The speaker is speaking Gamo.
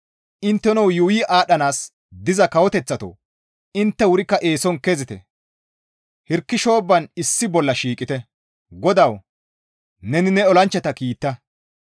Intteno yuuyi aadhdhanaas diza kawoteththatoo! Intte wurikka eeson kezite! Hirki shoobban issi bolla shiiqite. GODAWU, neni ne olanchchata kiita!